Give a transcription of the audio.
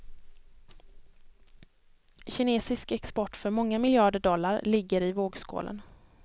Kinesisk export för många miljarder dollar ligger i vågskålen.